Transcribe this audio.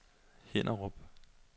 Hinnerup